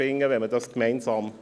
Gibt es Wortmeldungen?